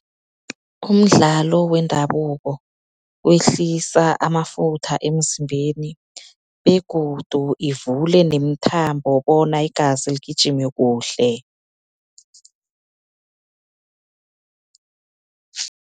Umdlalo wendabuko wehlisa amafutha emzimbeni begodu ivule nemithambo, bona igazi ligijime kuhle.